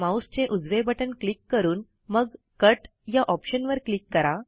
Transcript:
माऊसचे उजवे बटण क्लिक करून मग कट या ऑप्शनवर क्लिक करा